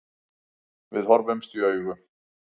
Við horfðumst í augu.